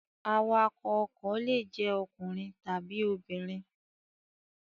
Awakọ̀ ọkọ̀ le jẹ́ ọkùnrin tàbí obìnrin.